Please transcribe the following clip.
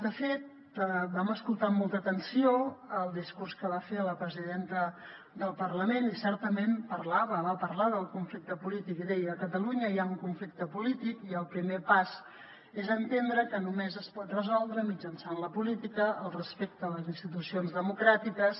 de fet vam escoltar amb molta atenció el discurs que va fer la presidenta del parlament i certament parlava va parlar del conflicte polític i deia a catalunya hi ha un conflicte polític i el primer pas és entendre que només es pot resoldre mitjançant la política el respecte a les institucions democràtiques